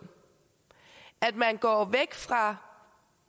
man går væk fra